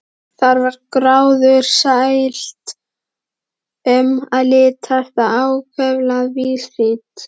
Þar var gróðursælt um að litast og ákaflega víðsýnt.